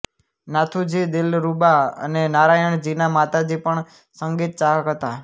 નાથુજી દિલરુબા અને નારાયણજીના માતાજી પણ સંગીતચાહક હતા